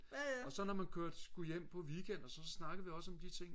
og så når man skulle hjem på weekend så snakkede vi også om de ting